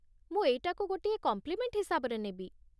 ମୁଁ ଏଇଟାକୁ ଗୋଟିଏ କମ୍ପ୍ଲିମେଣ୍ଟ୍ ହିସାବରେ ନେବି ।